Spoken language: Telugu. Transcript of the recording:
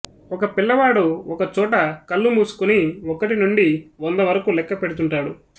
ఒక పిల్లవాడు ఒక చోట కళ్లు మూసుకొని ఒకటి నుండి వంద వరకు లెక్క పెడుతుంటాడు